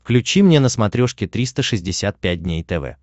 включи мне на смотрешке триста шестьдесят пять дней тв